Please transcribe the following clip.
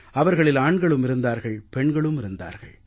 அவர்களில் ஆண்களும் இருந்தார்கள் பெண்களும் இருந்தார்கள்